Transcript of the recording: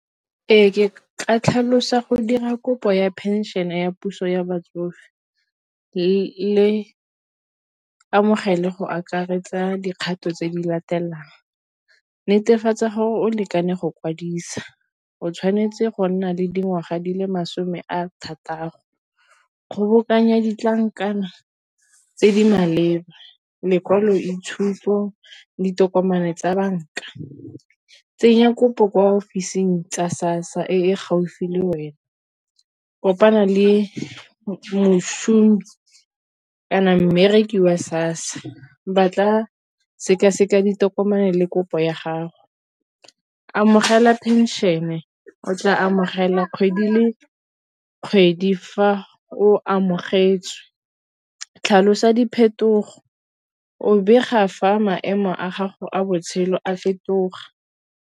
Ee, ke ka tlhalosa go dira kopo ya phenšene ya puso ya batsofe le amogele go akaretsa dikgato tse di latelang. Netefatsa gore o lekane go kwadisa o tshwanetse go nna le dingwaga di le masome a thataro. Kgobokanya ditlankana tse di maleba lekwalo itshupo ditokomane tsa banka tsenya kopo kwa ofising tsa SASSA e gaufi le wena kopana le kana mmereki wa SASSA ba tla sekaseka ditokomane le kopo ya gago amogela phenšene o tla amogela kgwedi le kgwedi ga fa o amogetswe tlhalosa diphetogo o bega fa maemo a gago a botshelo a fetoga.